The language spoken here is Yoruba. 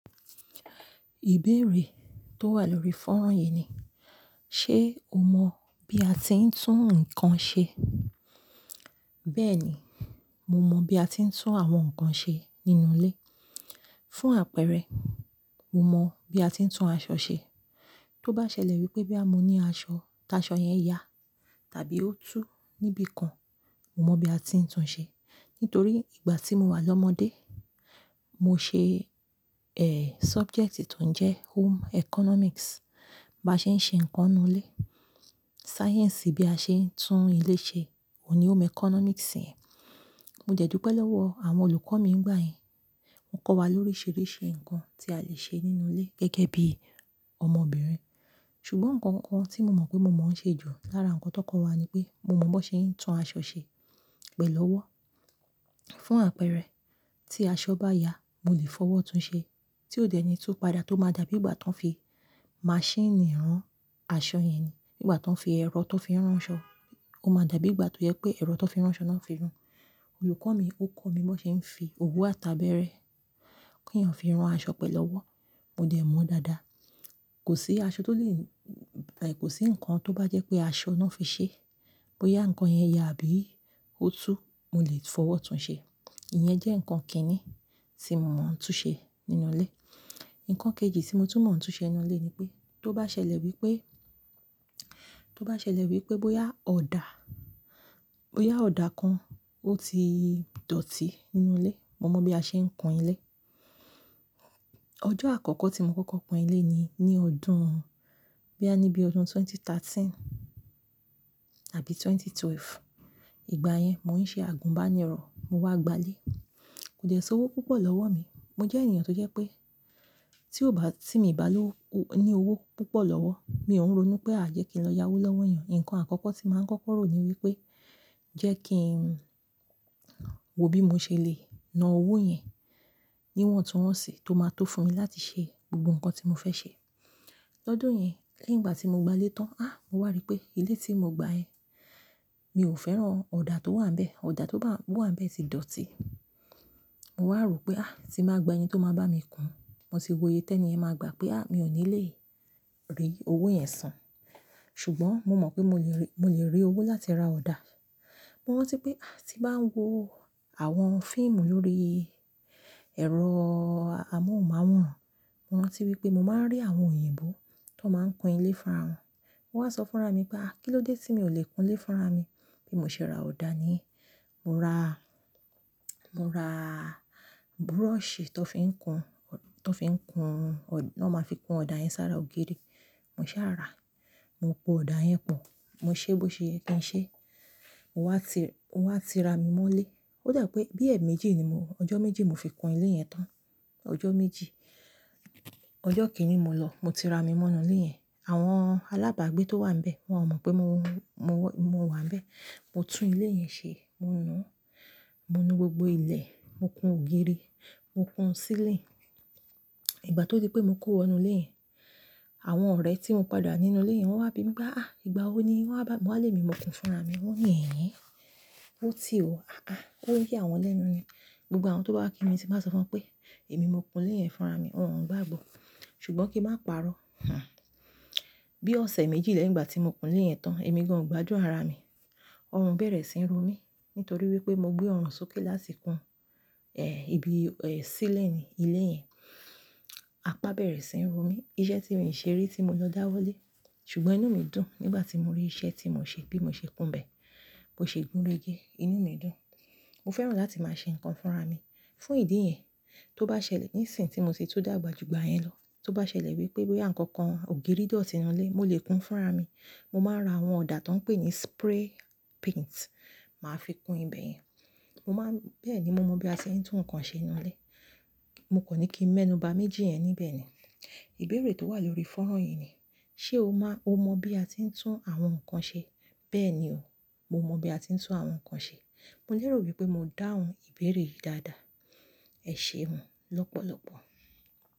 Ìbéèrè tó wà lórí fọ́nrọ̀ yìí ni, ṣe o mọ bí a ti ń tún nǹkan ṣe? Bẹ́ẹ̀ni, mo mọ bí a ti ń tún àwọn nǹkan ṣe nínú ilé. Fún àpẹẹrẹ, mo mọ bí a ti ń tún aṣọ ṣe. Tó bá ṣẹlẹ̀ wípé boya mo ní aṣọ, tí aṣọ yen ya tàbí ó tú níbi kan, mo mọ bí a ti ń tún ṣe. Nítorí ìgbà tí mo wà lọ́mọdé, mo ṣe, ẹ́, subjecti ton jẹ́ Home Economics. Báa ṣe ń ṣe ǹkan nínú ilé. Sáyẹ̀nsì bí a ṣe ń tún ilé ṣe òun ni Home Economics yẹn. Mo dẹ̀ dúpẹ̀ lọwọ́ àwọn olùkọ́ mi nígbà yẹn. Wọ́n kọ́ wa lóríṣiríṣi ǹkan tí a lè ṣe nínú ilé gẹ́gẹ́ bí ọmọbìnrin. Ṣùgbọ́n nǹkan kan tí mo mọ̀ pé mo mọ̀ ń ṣe jù lára nǹkan tó kọ́ wa ni pé mo mọ bón ṣe ń tún aṣọ ṣe pẹ̀lú ọwọ́. Fún àpẹẹrẹ, tí aṣọ bá ya, mo lè fọwọ́ tún ṣe. Tí ó deni tu padà tó máa dà bí ìgbà tó ń fi machine rán aṣọ yẹn ni. Nígbà tó ń fi ẹ̀rọ tó fi ń rán 'ṣọ, ó máa dà bí ìgbà tó yẹ pé ẹ̀rọ tó fi ń rán 'ṣọ náà fi rán. Olùkọ́ mi, ó kọ́ mi bó ṣe ń fi òwú àtàbẹ̀rẹ̀ kí èèyàn fi rán aṣọ pẹ̀lú ọwọ́. Mo dẹ̀ mọ̀ dáadáa. Kò sí aṣọ tó lè, rárá, kò sí nǹkan tó bá jẹ́ pé aṣọ náà fi ṣẹ́, bóyá ǹkan yẹn ya àbí ó tú, mo lè fọwọ́ tún ṣe. Ìyẹn jẹ́ nǹkan kìn-ín-ní tí mo mọ̀ ń tún ṣe nínú ilé. Ǹkan kejì tí mo tún mọ̀ ń tún ṣe nínú ilé ni pé tó bá ṣẹlẹ̀ wípé, tó bá ṣẹlẹ̀ wípé bóyá ọ̀dà, bóyá ọ̀dà kan ó ti dọ̀tí nínú ilé, mo mọ bí a ṣe ń kun ilé. Ọjọ́ àkọ́kọ́ tí mo kọ́kọ́ kun ilé ni ní ọdún, boya ní bí ọdún ẹgbẹ̀rún méjì ó lé mẹ́tàlá tàbí ẹgbẹ̀rún méjì ó lé méjìlá. Ìgbà yẹn, mo ń ṣe àgùnbánirọ̀, mo wá gba ilé. Kò dẹ́ sowó púpọ̀ lọ́wọ́ mi. Mo jẹ́ ènìyàn tó jẹ́ pé tí ó bá, tí mi bá lówo, ní owó púpọ̀ lọ́wọ́, mi ò ń ronú pé a jẹ́ kí n lọ yá 'wó lọ́wọ́ èèyàn. Ǹkan àkọ́kọ́ tí màá ń kọ́kọ́ rò ni wípé jẹ́ kí ń wo bí mo ṣe lè na owó yẹn níwọ̀n tuńwọ́n sì tó máa tó fún mi láti ṣe gbogbo nǹkan tí mo fẹ́ ṣe. Lọ́dun yẹn, lẹ́yìn ìgbà tí mo gba ilé tán, A! Mo wà rí pé ilé tí mo gba yẹn, mi ò fẹ́ràn ọ̀dà tó wà n bẹ̀. Ọ̀dà tó bá, tó wà n bẹ̀ ti dọ̀tí. Mo wà rò pé, a! Tí màá gba ẹni tó máa bá mi kun, mo tì wòye tẹ́ni yẹn máa gbà pé a! Mi ò ní lè rí owó yẹn san. Ṣùgbọ́n mo mọ̀ pé mo lè rí, mo lè rí owó láti ra ọ̀dà. Mo rántí wípé a! Tí màá wo àwọn fíìmù lórí ẹ̀rọ amóhùnmáwòrán, mo rántí wípé mo máa ń rí àwọn òyìnbó tó máa ń kun ilé fúnra wọn. Mo wà á sọ fúnra mi pé a! Kí ló dé tí mi ò lè kun ilé fúnra mi bí mo ṣe ra ọ̀dà ni? Mo ra, mo ra búrọ̀ṣì tó fi ń kun, tó fi ń kun, ton máa fi kun ọ̀dà yẹn sára ògiri. Mo ṣàrà, mo po ọ̀dà yẹn pọ̀, mo ṣe bó ṣe ye kiń ṣe, mo wá ti, wá ti ra mi mọ́ ilé. Ó dà pé bí ẹ̀ méjì ni mo, ọjọ́ méjì mo fi kun ilé yẹn tán. Ọjọ́ méjì. Ọjọ́ kìíní mo lọ, mo ti ra mi mọ́ nú ilé yẹn. Àwọn alábàágbé tó wà níbẹ̀, wọ́n ò mọ̀ pé mo, mo wà níbẹ̀. Mo tún ilé yẹn ṣe, mo nuu, mo nu gbogbo ilẹ̀, mo kun ògiri, mo kun sílinì. Ìgbà tó di pé mo kó wọnú ilé yẹn, àwọn ọ̀rẹ́ tí mo padà ni nínú ilé yẹn wọ́n wá bí mi pé a! Ìgbà wo ni wọn wa bá, mo wà lé mi, mo kùn fúnra mi. Wọ́n ní "Ẹ̀ hen, ó ti ò, àá". Ó ń ya àwọn lẹ́nu ni. Gbogbo àwọn tó bá wa kí mi tí màá sọ fún wọn pé èmi mo kun ilé yẹn fúnra mi, wọn ò ń gbàgbọ́. Ṣùgbọ́n kí n má parọ́. Ha! Bí ọ̀sẹ̀ méjì lẹ́yìn ìgbà tí mo kun ilé yẹn tán, èmi gan ò gbadun ara mi. Ọrùn bẹ̀rẹ̀ sí ń ro mí nítorí wípé mo gbé ọrùn sókè láti kun, ẹ́, ibi, ẹ́, sílinì ilé yẹn. Apá bẹ̀rẹ̀ sí ń ro mí. Iṣẹ́ tí mi ò ṣe rí tí mo lọ dáwọ́ lé. Ṣùgbọ́n inú mi dùn nígbà tí mo rí iṣẹ́ tí mò ṣe bí mo ṣe kun bẹ̀, bó ṣe gúnrege. Inú mi dùn. Mo fẹ́ràn láti máa ṣe ǹkan fúnra mi. Fún ìdí yẹn, tó bá ṣẹlẹ̀ ní ìsìn tí mo sì tún dàgbà ju ìgbà yẹn lọ, tó bá ṣẹlẹ̀ wípé bóyá ǹkan kan, ògiri dọ̀tí nínú ilé, mo lè kun fúnra mi. Mo máa ra àwọn ọ̀dà tó ń pè ní spray paint, màá fi kun ibẹ̀ yẹn. Mo má ń, bẹ́ẹ̀ ni mo mọ bí a ṣe ń tún nǹkan ṣe nínú ilé. Mo kò ní kí ń mẹ́nuba méjì yẹn níbẹ̀ ni. Ìbéèrè tó wà lórí fọ́nrọ̀ yìí ni, ṣe o má, o mọ bí a ti ń tún àwọn nǹkan ṣe? Bẹ́ẹ̀ni o, mo mọ bí a ti ń tún àwọn nǹkan ṣe. Mo léèrò wípé mo dáhùn ìbéèrè yìí dáadáa. Ẹ̀ ṣeun lọ́pọ̀lọpọ̀.